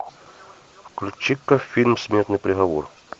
включи ка фильм смертный приговор